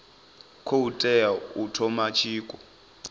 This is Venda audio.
khou tea u thoma tshiko